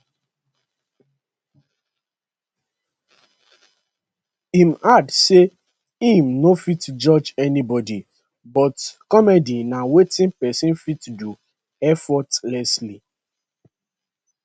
im add say im no fit judge anybody but comedy na wetin pesin fit do effortlessly